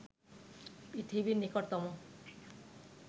পৃথিবীর নিকটতম